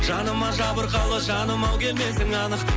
жаныма жабырқалы жаным ау келмесің анық